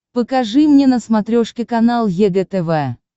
покажи мне на смотрешке канал егэ тв